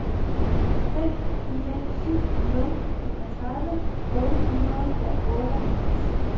fem fire syv nul enogtredive otte hundrede og otteoghalvtreds